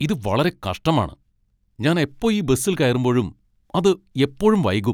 ഇത് വളരെ കഷ്ടമാണ് ! ഞാൻ എപ്പോ ഈ ബസിൽ കയറുമ്പോഴും അത് എപ്പോഴും വൈകും .